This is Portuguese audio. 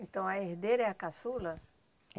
Então a herdeira é a caçula?